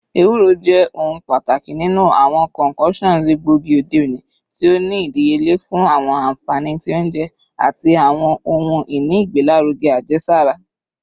Ewuro, jẹ ohun pataki ninu awọn concoctions egboigi ode oni, ti o ni idiyele fun awọn anfani ti ounjẹ ati awọn ohun-ini igbelaruge ajesara